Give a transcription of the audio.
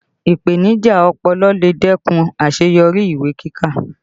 Ipenija ọpọlọ lè dẹ́kun àṣeyọrí ìwé kíkà